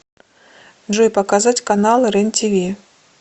джой показать каналы рен тиви